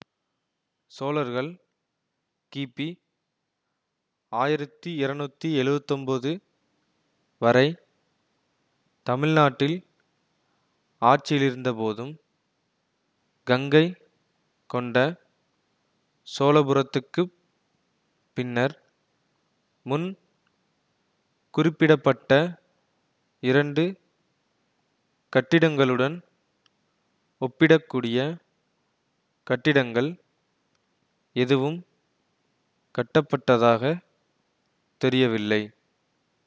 சோழர்கள் கிபி ஆயிரத்தி இருநூத்தி எழுவத்தி ஒன்போது வரை தமிழ் நாட்டில் ஆட்சியிலிருந்தபோதும் கங்கை கொண்ட சோழபுரத்துக்குப் பின்னர் முன் குறிப்பிட பட்ட இரண்டு கட்டிடங்களுடன் ஒப்பிடக்கூடிய கட்டிடங்கள் எதுவும் கட்டப்பட்டதாகத் தெரியவில்லை